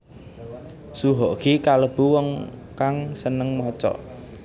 Soe Hok Gie kalêbu wong kang sênêng maca